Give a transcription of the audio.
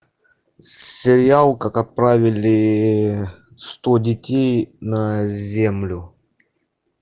сериал как отправили сто детей на землю